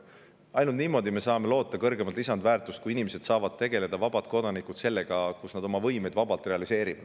Ainult niimoodi me saame toota kõrgemat lisandväärtust, kui inimesed, vabad kodanikud saavad tegeleda sellega, millega nad oma võimeid vabalt realiseerivad.